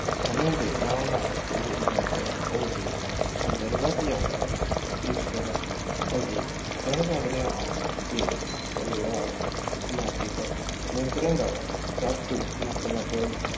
ਸਮੇਂ ਦੇ ਨਾਲ ਨਾਲ ਇਹ ਨਿਯੰਤਰਣ ਓਹਦੇ ਅੰਦਰ ਵੱਸ ਜਾਂਦਾ ਹੈ। ਇਸ ਅਸੀਂ ਸਕਦੇ ਹੈ ਕਿ ਪਰਿਵਾਰ ਸਮਾਜਿਕ ਨਿਯੰਤਰਣ ਦਾ ਸਬ ਟੋਹ l